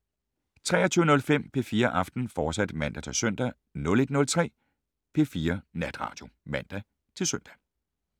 23:05: P4 Aften, fortsat (man-søn) 01:03: P4 Natradio (man-søn)